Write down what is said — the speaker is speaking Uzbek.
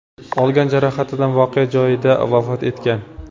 olgan jarohatidan voqea joyida vafot etgan.